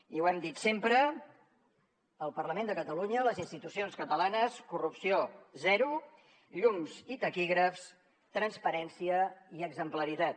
i ho hem dit sempre al parlament de catalunya a les institucions catalanes corrupció zero llums i taquígrafs transparència i exemplaritat